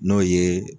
N'o ye